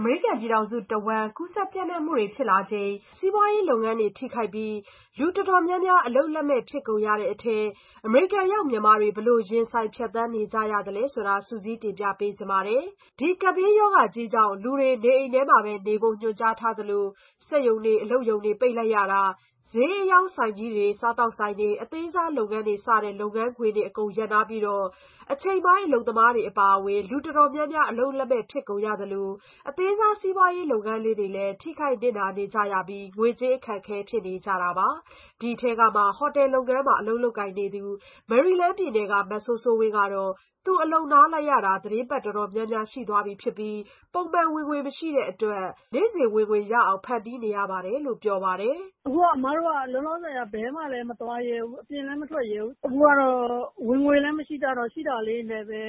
အမေရိကန်ပြည်ထောင်စု တဝှမ်း စီးပွားရေးလုပ်ငန်းတွေထိခိုက်ပြီး လူတော်တော်များများ အလုပ်လက်မဲ့ဖြစ်ကုန်ကြတဲ့အထဲ အမေရိကန်ရောက်မြန်မာတွေ ဘယ်လိုရင်ဆိုင်ဖြတ်သန်းနေရသလဲဆိုတာ စုစည်းတင်ပြပါမယ်။ ဒီကပ်ဘေးရောဂါကြီးကြောင့် လူတွေ နေအိမ်တွေမှာပဲ နေဖို့ညွှန်ကြားထားသလို စက်ရုံအလုပ်ရုံပိတ် ဈေးအရောင်းဆိုင်ကြီးတွေ စားသောက်ဆိုင်တွေ အသေးစားလုပ်ငန်းတွေ စတဲ့လုပ်ငန်းခွင်တွေအကုန် ရပ်နားပြီး အချိန်ပိုင်းအလုပ်သမားတွေ အပါအဝင်လူတော်တော်များ များအလုပ်လက်မဲ့ဖြစ်ကုန်သလို အသေးစား စီးပွားရေးလုပ်ငန်းလေးတွေလည်း ထိခိုက်နစ်နာနေကြရပြီး စီးပွားရေး အခက်ခဲဖြစ်နေကြပါတယ်။ ဒီအထဲကမှ ဟိုတယ်လုပ်ငန်းမှာ လုပ်ကိုင်နေသူ မေရီလန်းပြည်နယ်က မစိုးစိုးဝင်းကတော့ သူအလုပ်နားထားရတာ သီတင်းပတ် တော်တော်များများရှိနေပြီ ဖြစ်ပြီး ပုံမှန်ဝင်ငွေ မရှိတဲ့အတွက် နေ့စဉ်ဝင်ငွေရအောင်ဖန်တီးနေရတယ်လို့ ပြောပါတယ်။ "အခုက အမတို့က လောလောဆယ် ဘယ်မှလဲ မသွားရဲဘူး။ အပြင်လည်း မထွက်ရဲဘူး။ အခုကတော့ ဝင်ငွေလည်း မရှိကြတော့ ရှိတာလေးတွေနဲ့ပဲ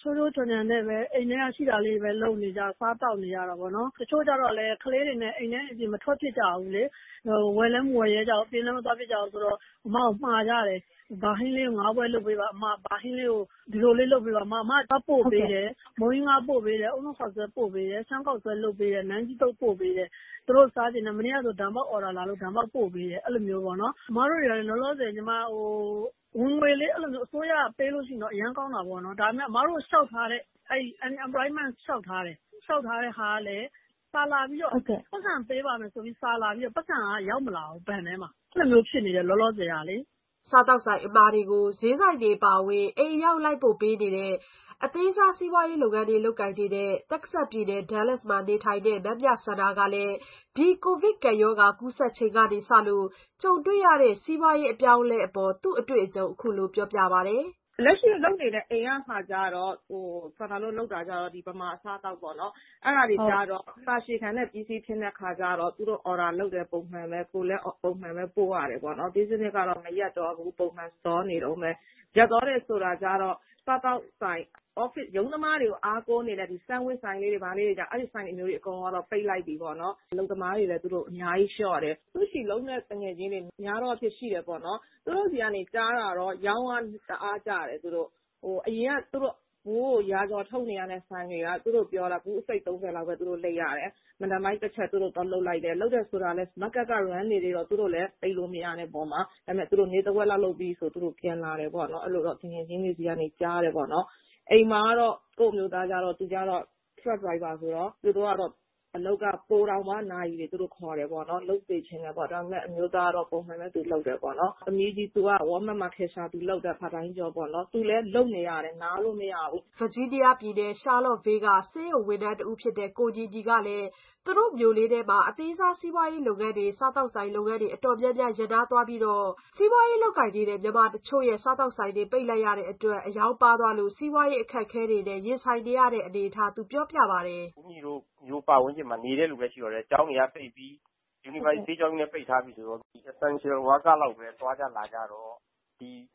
ခြိုးခြိုးခြံခြံနဲ့ပဲ အိမ်ထဲက ရှိတာလေးတွေနဲ့ပဲ လုပ်နေကြတာပေါ့နော်၊ စားသောက်နေရတာပေါ့နော်။ တချို့တွေကျတော့လည်း ကလေးတွေနဲ့ အိမ်ထဲက အိမ်ပြင် မထွက်ဖြစ်ကြဘူးလေ။ ဝယ်လည်းမဝယ်ရဲကြဘူး။ အပြင်လည်း မသွားဖြစ်ကြဘူးဆိုတော့ အမကို မှာကြတယ်။ ဘာဟင်းလေးကို ငါးပွဲလုပ်ပေးပါ၊ ဘာဟင်းလေးကို ဒီလိုလေးလုပ်ပေးပါ အမ။ အမက သွားပို့ပေးတယ်။ မုန့်ဟင်းခါးပို့ပေးတယ်၊ ရှမ်းခေါက်ဆွဲလုပ်ပေးတယ်။ အုန်းနို့ခေါက်ဆွဲ ပို့ပေးတယ်၊ နန်းကြီးသုတ်ပို့ပေးတယ်။ သူတို့စားချင်တာပေါ့နော်။ မနေ့ကဆို ဒံပေါက်အော်ဒါလာလို့ ဒံပေါက် ပို့ပေးတယ်။ အဲ့ဒီလို မျိုးပေါ့နော်။ အမတို့က လောလောဆယ် ဝင်ငွေလေး အစိုးရက ပေးလို့ရှိရင်တော့ အရမ်းကောင်းတာပေါ့နော်။ အမတို့ လျှောက်ထားတဲ့... unemployment လျှောက်ထားတယ်။ စာလာပြီးတော့ ပိုက်ဆံပေးပါမယ်ဆိုပြီး စာလာပြီးတော့ ပိုက်ဆံက ရောက်မလာဘူး ဘဏ်ထဲမှာ ရောက်မလာဘူးဖြစ်နေတယ် အဲ့လိုမျိုးဖြစ်နေတယ်လောလောဆယ်ကလေ။" စားသောက်ကုန်အမှာတွေကို ဈေးဆိုင်တွေအပါအဝင် အိမ်အရောက်လိုက်ပို့ပေးတဲ့အသေးစားဝန်ဆောင်မှုကို လုပ်ကိုင်နေတဲ့ တက္ကဆက်ပြည်နယ် ဒါးလက်စ်မှာ နေထိုင်တဲ့မမြစန္ဒာကလည်း ဒီကိုဗစ်ကပ်ရောဂါကူးစက်ချိန်ကစလို့ ကြုံတွေ့ရတဲ့ စီးပွားရေးအပြောင်းအလဲတွေအပေါ်သူ့အတွေ့အကြုံ အခုလိုပြောပြပါတယ်။ "လက်ရှိလုပ်နေတဲ့ အိမ်ကလုပ်ငန်းကျတော့ စန္ဒာတို့လုပ်နေတာက မြန်မာ အစားအသောက်ပေါ့နော်။ အဲ့ဒါတွေကျတော့ ကြာရှည်ခံတဲ့ business ဖြစ်တဲ့ အခါကျတော့ သူတို့ အော်ဒါလုပ်တယ် ပုံမှန်ပဲ။ ကိုယ်လည်း ပုံမှန်ပဲ ပို့ရတယ်ပေါ့နော်။ business ကတော့ ရပ်မသွားဘူး။ ပုံမှန်သွားနေတုန်းပဲ။ ရပ်သွားတယ်ဆိုတာကျတော့ စားသောက်ဆိုင်တွေ အထူးသဖြင့် ရုံးသမားတွေကို အားကိုးနေရတဲ့ sandwiches ဆိုင်လေးတွေ၊ ဘာလေးတွေ အဲ့လို ဆိုင်လေးတွေ အကုန်လုံးပိတ်လိုက်ပြီပေါ့နော်။ အများကြီးလျှော့တယ်။ ဆူရှီ လုပ်တဲ့ သူငယ်ချင်းတွေ များသောအားဖြင့်ရှိတယ်ပေါ့နော်။ သူတို့ဆီက ကြားတာကျတော့ ရောင်းအား တအားကျတယ်သူတို့ အရင်က သူတို့ ဘူးကို ရာကျော် ထုပ်နေရတဲ့ ဆိုင်တွေက သူတို့ ပြောတာ ဘူးကို ၂၅၊ ၃၀ လောက်ပဲ လိပ်ရတယ်။ မနက်ပိုင်းတချက် သူတို့ သွားလုပ်လိုက်တယ်။ လုပ်တယ်ဆိုတာက မားကတ်က run နေသေးတော့ သူတို့လည်း ပိတ်လို့မရတဲ့အပေါ်မှာ သူတို့ နေ့တဝက်လောက် လုပ်ပြီး ပြန်လာတယ်ပေါ့နော်။ အဲ့လိုတော့ သူငယ်ချင်းတွေဆီကနေ ကြားတယ်ပေါ့နော်။ အိမ်မှာတော့ ကိုယ့်အမျိုးသားကျတော့ သူကတော့ truck driver ဆိုတော့ သူတို့ကတော့ အလုပ်က ပိုပြီးတော့တောင် နာရီတွေခေါ်တယ်ပေါ့နော်။ လုပ်စေချင်တယ်ပေါ့ ။ ဒါပေမဲ့ အမျိုးသားကတော့ ပုံမှန်ပဲ သူလုပ်တယ်။ သမီးကြီး walmart မှာ cashier သူလုပ်တယ် အချိန်ပိုင်းအလုပ်ပါ့နော်။ သူလည်း လုပ်နေရတယ်၊ နားလို့မရဘူး။" ဗာဂျီးနီးယားပြည်နယ် ရှားလော့ခ်ဗေးလ်မှာ ဆေးရုံဝန်ထမ်းဖြစ်တဲ့ ကိုညီညီကလည်း သူ့တို့မြို့လေးထဲက အသေးစား စီးပွားရေးလုပ်ငန်းတွေ စားသောက်ကုန်လုပ်ငန်းတွေ တော်တော်များများရပ်နားသွားရပြီး မြန်မာတချို့ ဆိုင်တွေပိတ်လိုက်ရတာ အရောင်းပါးသွားတဲ့အတွက် စီးပွားရေးအခက်အခဲတွေနဲ့ ရင်ဆိုင်နေကြရတဲ့အနေအထား ပြောပြပါတယ်။ "ဦးညီတို့ မြို့ ပတ်ဝန်းကျင်မှာ နေတဲ့လူပဲရှိတော့တယ်။ ကျောင်းတွေက ပိတ်ပြီ၊ University ဆေးကျောင်းကြီးလည်း ပိတ်ထားပြီဆိုတော့ မဖြစ်မနေသွားရမယ့် Essential Workerအလုပ်သမားတွေလောက်ပဲ သွားကြလာကြတော့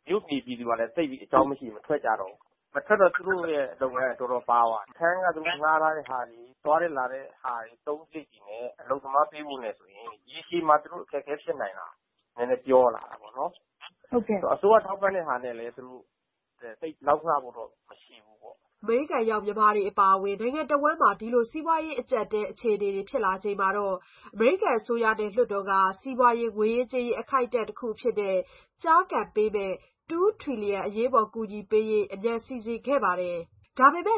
မြို့နေပြည်သူတွေကတော့ သိပ်ပြီး အကြောင်းမရှိရင် မထွက်ကြတော့ဘူး။ မထွက်တော့ သူတို့လုပ်ငန်းက တော်တော်ပါးသွားပြီ။ အခန်းခငှားထားတဲ့ဟာတွေ၊ သွားတဲ့လာတဲ့ဟာတွေ၊ အသုံးစာရိတ်တွေနဲ့ အလုပ်သမားပေးဖို့ဆိုရင် ရေရှည်မှာ သူတို့ အခက်အခဲ ဖြစ်နိုင်တယ်။ နည်းနည်းပြောလာတာပေါ့နော်။ အစိုးရထောက်ပံ့တဲ့ဟာနဲ့လည်း သိပ်ပြီး လောက်ငှဖို့လည်း မရှိဘူးပေါ့။" အမေရိကန်ရောက်မြန်မာတွေလိုပဲ နိုင်ငံတဝှမ်းက အမေရိကန်တွေ ဒီလိုအခြေအနေတွေဖြစ်လာချိန်မှာတော့ အမေရိကန်အစိုးရနဲ့လွှတ်တော်ကနေ စီးပွားရေး ငွေရေးကြေးရေး အခိုက်အတံ့ တခုအဖြစ် ကျားကန်ပေးမယ့်$2 Trillion Coronavirus Aid Bill ၂ထီလီယံပေးမယ့် အရေးပေါ်အကူအညီပေးရေး အမြန်စီစဉ်ခဲ့ကြပါတယ်။ ဒါပေမဲ့လည